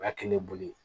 O y'a kɛ ne bolo